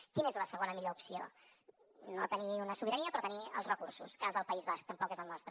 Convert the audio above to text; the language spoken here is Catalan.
quina és la segona millor opció no tenir una sobirania però tenir els recursos cas del país basc tampoc és el nostre